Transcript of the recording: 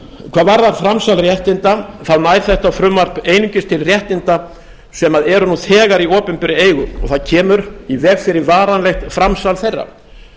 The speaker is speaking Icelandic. hvað varðar framsal réttinda nær þetta frumvarp einungis til réttinda sem eru nú þegar í opinberri eigu og það kemur í veg fyrir varanlegt framsal þeirra